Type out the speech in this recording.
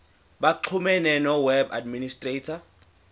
baxhumane noweb administrator